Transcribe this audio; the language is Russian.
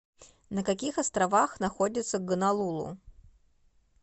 на каких островах находится гонолулу